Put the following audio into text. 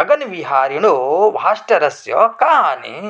गगनविहारिणो भास्टरस्य का हानिः